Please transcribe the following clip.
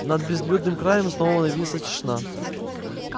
над безлюдным краем снова нависла тишина